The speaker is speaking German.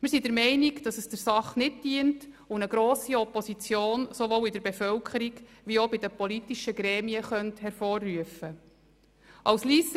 Wir sind der Meinung, dass es der Sache nicht dient und eine grosse Opposition sowohl in der Bevölkerung, wie auch bei den politischen Gremien hervorrufen könnte.